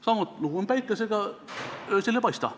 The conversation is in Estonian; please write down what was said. Sama lugu on päikesega, see öösel ei paista.